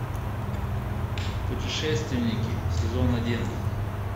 путешественники сезон один